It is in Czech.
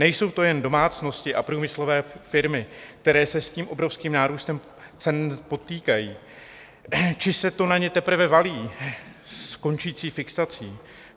Nejsou to jen domácnosti a průmyslové firmy, které se s tím obrovským nárůstem potýkají či se to na ně teprve valí s končící fixací.